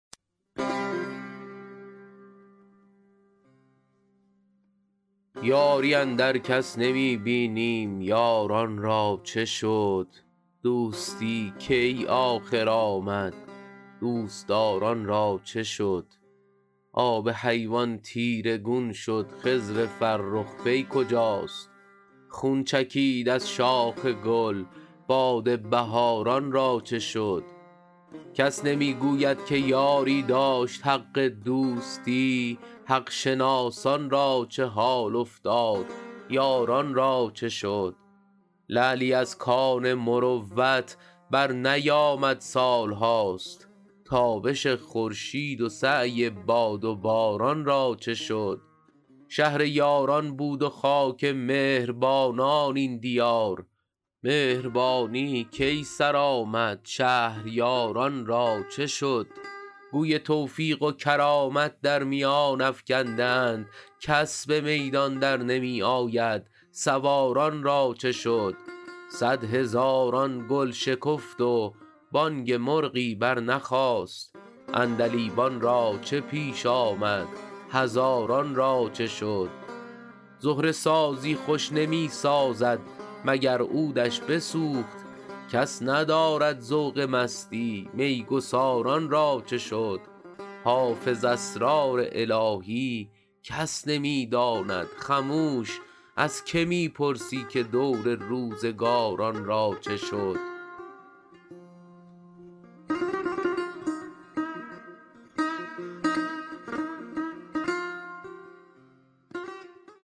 یاری اندر کس نمی بینیم یاران را چه شد دوستی کی آخر آمد دوست دار ان را چه شد آب حیوان تیره گون شد خضر فرخ پی کجاست خون چکید از شاخ گل باد بهار ان را چه شد کس نمی گوید که یاری داشت حق دوستی حق شناسان را چه حال افتاد یاران را چه شد لعلی از کان مروت برنیامد سال هاست تابش خورشید و سعی باد و باران را چه شد شهر یاران بود و خاک مهر بانان این دیار مهربانی کی سر آمد شهریار ان را چه شد گوی توفیق و کرامت در میان افکنده اند کس به میدان در نمی آید سوار ان را چه شد صدهزاران گل شکفت و بانگ مرغی برنخاست عندلیبان را چه پیش آمد هزاران را چه شد زهره سازی خوش نمی سازد مگر عود ش بسوخت کس ندارد ذوق مستی می گسار ان را چه شد حافظ اسرار الهی کس نمی داند خموش از که می پرسی که دور روزگار ان را چه شد